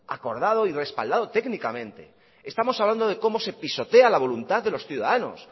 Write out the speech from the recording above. acordado y respaldado técnicamente estamos hablando de cómo se pisotea la voluntad de los ciudadanos